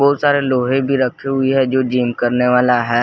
बहुत सारे लोहे भी रखी हुई हैं जो जिम करने वाला है।